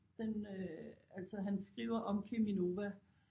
Den øh altså han skriver om Cheminova